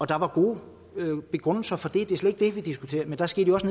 der var gode begrundelser for det det er slet ikke det der diskuteres men der skete også